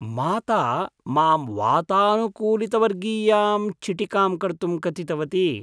माता मां वातानुकूलितवर्गीयां चिटिकां कर्तुं कथितवती।